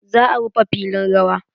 Za a rufe filin rawa.